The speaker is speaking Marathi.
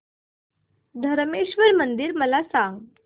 धरमेश्वर मंदिर मला सांग